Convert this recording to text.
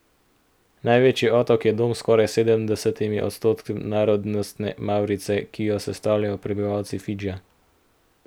Največji otok je dom skoraj sedemdesetim odstotkom narodnostne mavrice, ki jo sestavljajo prebivalci Fidžija.